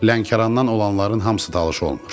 Lənkərandan olanların hamısı talış olmur.